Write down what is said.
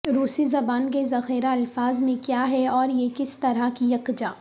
روسی زبان کے ذخیرہ الفاظ میں کیا ہے اور یہ کس طرح کی یکجا